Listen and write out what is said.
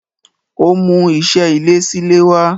Ó ń mú iṣé ilé sílé wá.